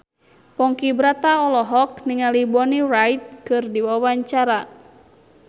Ponky Brata olohok ningali Bonnie Wright keur diwawancara